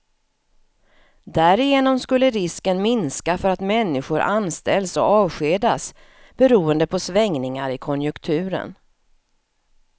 Därigenom skulle risken minska för att människor anställs och avskedas beroende på svängningar i konjunkturen.